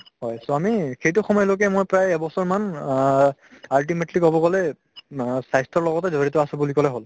হয় so আমি সেইটো সময়লৈকে মই প্ৰায় এবছৰমান অ ultimately কব গলে না স্বাস্থ্যৰ লগতে জৰিত আছো বুলি কলে হল